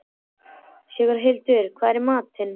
Sigurhildur, hvað er í matinn?